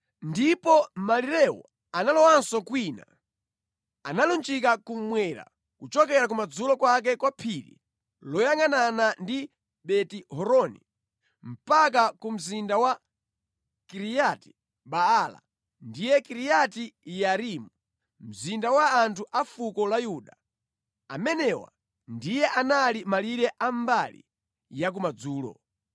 Ndipo malirewo analowanso kwina, analunjika kummwera kuchokera kumadzulo kwake kwa phiri loyangʼanana ndi Beti-Horoni, mpaka ku mzinda wa Kiriyati Baala (ndiye Kiriati Yearimu), mzinda wa anthu a fuko la Yuda. Amenewa ndiye anali malire a mbali ya kumadzulo.